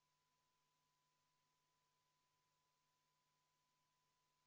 Aitäh, lugupeetud, auväärne ja täna eriti viisakas istungi juhataja!